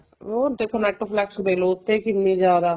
ਉਹ ਦੇਖੋ netflix ਦੇਖਲੋ ਉਹ੍ਤੇ ਕਿੰਨੀ ਜਿਆਦਾ